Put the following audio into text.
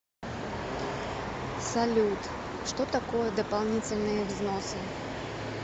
салют что такое дополнительные взносы